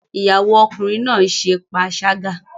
Ìyàwó Ọkùnrin náà ṣe panṣágà